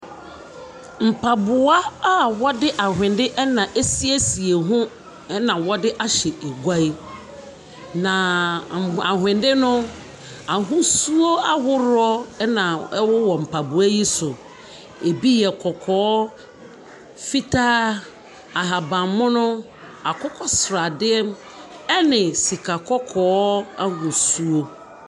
Mpaboa a ɔde awhene ɛna ɛsiesie ho ɛna ɔde ahyɛ egua yi. Na awhende no ahosuo ahoroɔ ɛna ɛwowɔ mpaboa yi so. Ebi yɛ kɔkɔɔ, fitaa, ahaban mono, akokɔ sradeɛ ɛne sika kɔkɔɔ ahosuo.